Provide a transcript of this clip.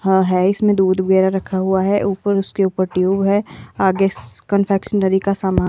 हाँ है इसमें दूध वगैरह रखा हुआ है ऊपर उसके ऊपर ट्यूब है आगे कंफेक्शनरी का सामान--